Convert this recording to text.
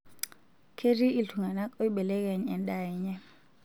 Ketii iltungana oibelekeny endaa enye.